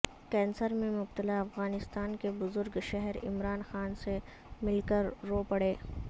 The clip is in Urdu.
کینسر میں مبتلا افغانستان کے بزرگ شہری عمران خان سے مل کر رو پڑے